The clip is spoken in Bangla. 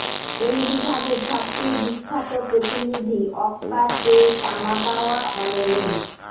এই বিভাগের সবচেয়ে বিখ্যাত প্রতিনিধি অক্কা তে তামাগাওয়া অনেনেন